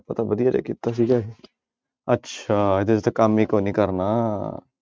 ਕੀਤਾ ਸੀਗਾ ਇਹ ਅੱਛਾ ਇਹਦੇ ਤੇ ਕੰਮ ਹੀ ਕੋਈ ਨੀ ਕਰਨਾ।